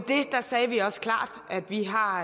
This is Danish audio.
sagde vi også klart at vi har